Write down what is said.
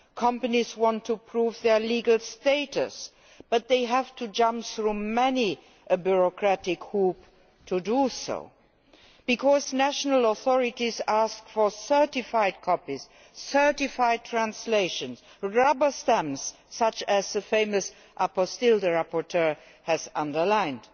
Companies want to prove their legal status, but they have to jump through many a bureaucratic hoop to do so, all because national authorities ask for certified copies, certified translations and rubber stamps such as the famous apostille the rapporteur has highlighted.